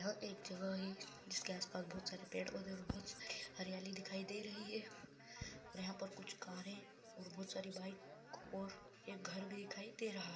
यह एक जगह है जिसके आस पास बहुत सारे पेड़ पौधे और बहुत सारी हरियाली दिखाई दे रही है यहाँ पर कुछ कारे और बहुत सारी बाइक और एक घर भी दिखाई दे रहा है।